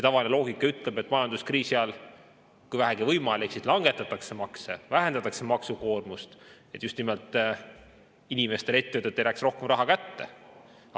Tavaline loogika ütleb, et majanduskriisi ajal, kui vähegi võimalik, just nimelt langetatakse makse ja vähendatakse maksukoormust, et inimestele ja ettevõtetele jääks rohkem raha kätte.